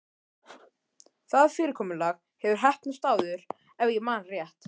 Það fyrirkomulag hefur heppnast áður- ef ég man rétt.